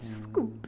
Desculpe.